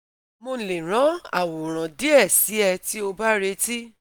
Mo le ran aworan die si e ti o ba reti